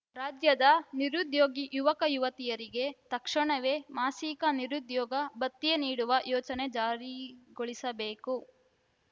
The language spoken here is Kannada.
ರಾಜ್ಯದ ನಿರುದ್ಯೋಗಿ ಯುವಕಯುವತಿಯರಿಗೆ ತಕ್ಷಣವೇ ಮಾಸಿಕ ನಿರುದ್ಯೋಗ ಭತ್ಯೆ ನೀಡುವ ಯೋಜನೆ ಜಾರಿಗೊಳಿಸಬೇಕು